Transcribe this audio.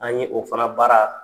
An ye o fana baara